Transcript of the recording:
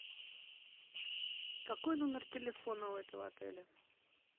какой номер телефона у этого отеля